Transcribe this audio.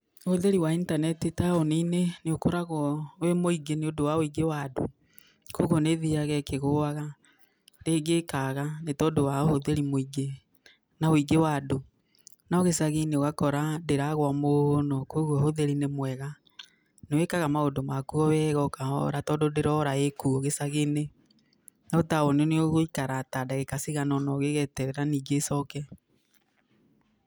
Ũhũthĩri wa itaneti taũninĩ nĩ ũkoragwo wĩ mũingĩ nĩ ũndũ wa ũingĩ wa andũ, kũoguo nĩthiaga ĩkĩgũaga rĩngĩ ĩkaga nĩ tondũ wa ũhũthĩri mũingĩ na ũingĩ wa andũ, no gĩcagĩnĩ ndĩragũa mũno kũoguo ũhũthĩri ni mwega. Nĩ wĩkaga maũndũ maku wega o kahora tondũ ndĩrora ĩkuo gĩcagĩnĩ no taũninĩ nĩũgũikara ta ndagĩka cigana ũna ũgĩeterera ningĩ ĩcoke.